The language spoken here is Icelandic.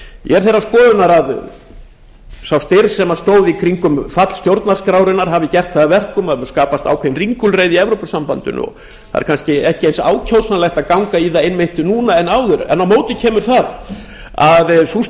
ég er þeirrar skoðunar að sá fyrr sem stóð í kringum fall stjórnarskrárinnar hafi gert það að verkum að skapast hafi ákveðin ringulreið í evrópusambandinu og það er kannski ekki eins ákjósanlegt að ganga í það einmitt núna og áður á móti kemur að sú